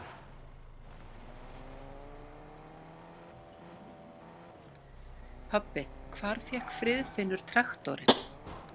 Pabbi, hvar fékk Friðfinnur traktorinn?